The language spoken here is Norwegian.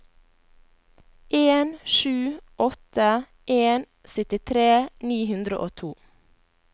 en sju åtte en syttitre ni hundre og to